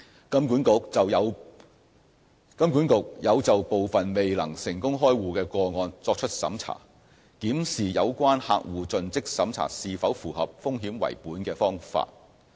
金管局有就部分未能成功開戶的個案作出審查，檢視有關客戶盡職審查是否符合"風險為本"的方法。